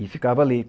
E ficava ali.